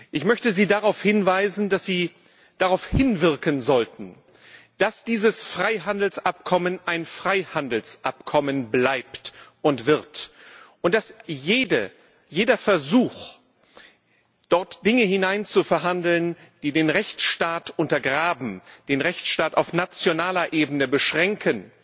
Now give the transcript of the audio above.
Ich möchte Sie darauf hinweisen, dass Sie darauf hinwirken sollten, dass dieses Freihandelsabkommen ein Freihandelsabkommen bleibt und wird, und dass jeder Versuch, dort Dinge hineinzuverhandeln, die den Rechtsstaat untergraben, den Rechtsstaat auf nationaler Ebene beschränken,